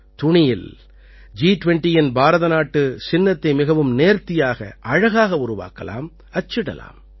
துணியில் ஜி20யின் பாரதநாட்டுச் சின்னத்தை மிகவும் நேர்த்தியாக அழகாக உருவாக்கலாம் அச்சிடலாம்